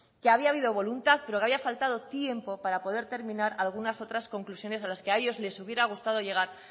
que había habido voluntad pero que había faltado tiempo para poder terminar algunas otras conclusiones a las que a ellos les hubiera gustado llegar